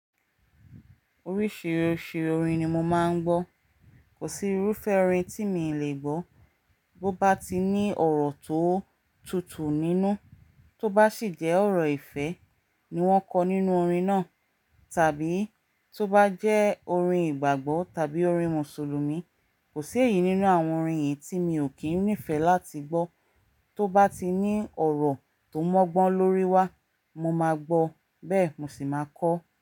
Oríṣìíríṣìí orin ni mo máa ń gbọ́. Kò sí irúfẹ́ orin tí mi lè gbọ́. Bo bá ti ní ọ̀rọ̀ tó tutù nínú, tó bá sì jẹ́ ọ̀rọ̀ ìfẹ́ ni wọ́n kọ nínú orin náà, tàbí tó bá jẹ́ orin ìgbàgbọ́ tàbí orin Mùsùlùmí, kò sí èyí nínú àwọn orin yìí tí mi ò kí n nífẹ̀ẹ́ láti gbọ́. Tó bá ti ní ọ̀rọ̀ tó mọ́gbọ́n lórí wá, mo máa gbọ́, bẹ́ẹ̀ mo sì máa kọ.